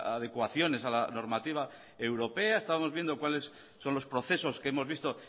adecuaciones a la normativa europea estamos viendo cuáles son los procesos que hemos visto